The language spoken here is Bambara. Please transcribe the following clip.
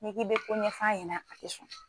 N'i k'i bɛ ko ɲɛf'a ɲɛna a tɛ sɔn.